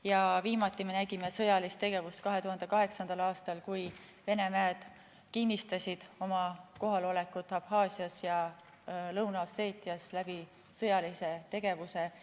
Ja viimati me nägime sõjalist tegevust 2008. aastal, kui Vene väed kinnistasid oma kohalolekut Abhaasias ja Lõuna-Osseetias sõjalise tegevusega.